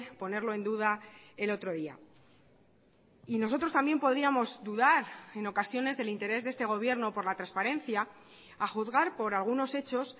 ponerlo en duda el otro día y nosotros también podríamos dudar en ocasiones del interés de este gobierno por la transparencia a juzgar por algunos hechos